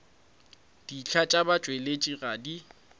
dihlaa tša batšweletši ga di